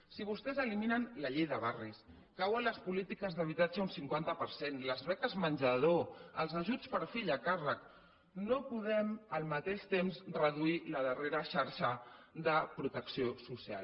si vostès eliminen la llei de barris cauen les polítiques d’habitatge un cinquanta per cent les beques menjador els ajuts per fill a càrrec no podem al mateix temps reduir la darrera xarxa de protecció social